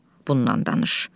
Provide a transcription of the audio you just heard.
bundan danış.